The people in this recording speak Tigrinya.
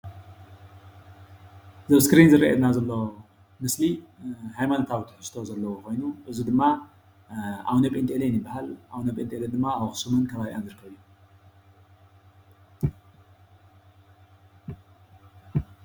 እዚ ኣብ እስክሪን ዝርአየና ዘሎ ምስሊ ሃይማኖታዊ ትሕዝቶ ዘለዎ ኾዮኑ እዚ ድማ ኣቡነጼንጤልዮን ይበሃል። ኣቡነጼንጤልዮን ድማ ኣብ ኣኽሱምን ኸባቢኣን ይርከብ።